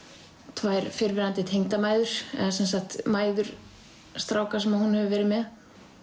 tvær fyrrverandi tengdamæður eða sem sagt mæður stráka sem hún hefur verið með